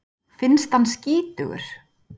Finnst hann skítugur.